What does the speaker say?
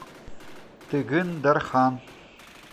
тыгын дархан